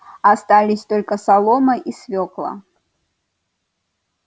остались только солома и свёкла